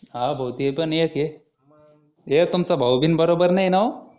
हा भाऊ ते पण एक आहे हे तुमचा भाऊ बिन बरोबर नाही ना हो